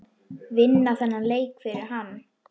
Vinna þennan leik fyrir hann!